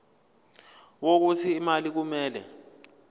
wokuthi imali kumele